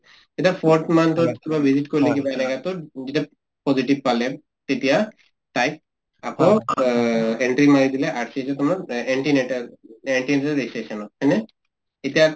যেতিয়া forth month ত কিবা visit কৰিলে যেতিয়া positive পালে তেতিয়া তাইক আকৌ অ entry মাৰি দিলে RCH হয়নে